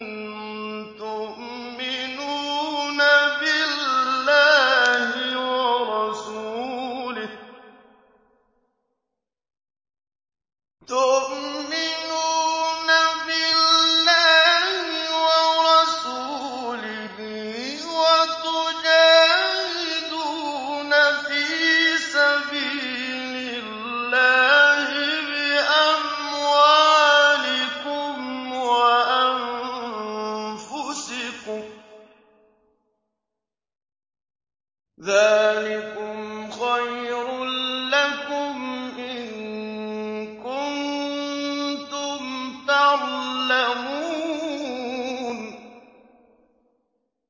تُؤْمِنُونَ بِاللَّهِ وَرَسُولِهِ وَتُجَاهِدُونَ فِي سَبِيلِ اللَّهِ بِأَمْوَالِكُمْ وَأَنفُسِكُمْ ۚ ذَٰلِكُمْ خَيْرٌ لَّكُمْ إِن كُنتُمْ تَعْلَمُونَ